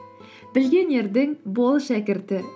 білген ердің бол шәкірті